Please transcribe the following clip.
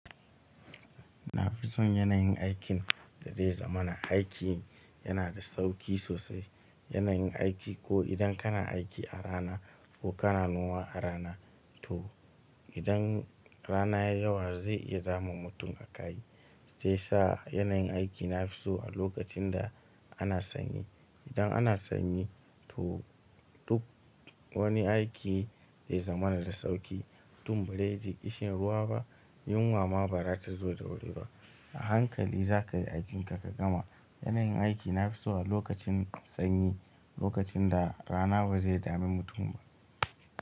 Nafison yanayin aikin da dai zamana, aikin yana da sauƙi sosai. Yanayin aiki ko idan kana aiki a rana ko kana noma a rana to idan rana ya yi yawa zai iya damun mutum a kai shi ya sa yanayin aiki nafiso a lokacin da ana sanyi. Idan ana sanyi to duk wani aiki zai zamana da sauƙi mutum ba zai ishe ruwa ba yunwa ma ba za ta zo da wuri ba. A hankali za ka yi aikinka ka gama. Yana yin aiki nafiso a lokacin sanyi lokacin da rana ba zai dame mutum ba.